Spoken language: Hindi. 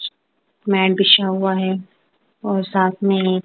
मैट बिछा हुआ है और साथ में--